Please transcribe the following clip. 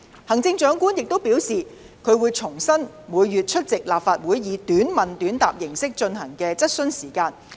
行政長官亦表示，她會恢復每月出席立法會以短問短答形式進行的質詢時間。